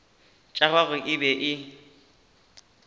tša gagwe e be e